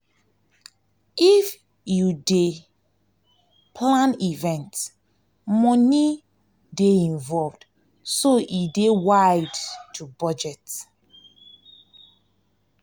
if you dey if you dey plan event money go dey involved so e dey wide to budget